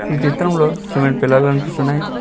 ఈ చిత్రంలో సిమెంట్ పెల్లలు కనిపిస్తున్నాయి.